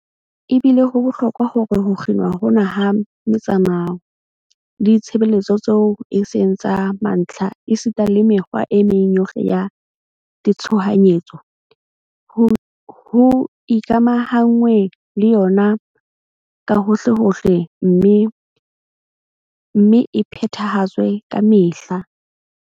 Ebile ho bohlokwa hore ho kginwa hona ha metsamao le ditshebeletso tseo e seng tsa mantlha esita le mekgwa e meng yohle ya tshohanyetso, ho ikamahanngwe le yona kahohlehohle mme e phethahatswe kamehla.